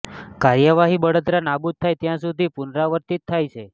કાર્યવાહી બળતરા નાબૂદ થાય ત્યાં સુધી પુનરાવર્તિત થાય છે